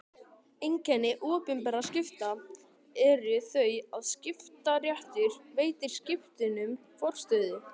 Einkenni opinberra skipta eru þau að skiptaréttur veitir skiptunum forstöðu.